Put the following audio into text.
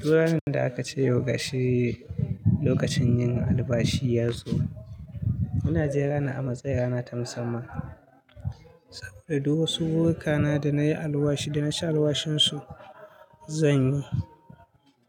Tun ranar da aka ce yau gashi lokacin yin albashi ya zo. Muna jin ranar a matsayin rana ta musamman saboda duk wasu buruka na da na yi alwashi da na sha alwashin su. Zanyi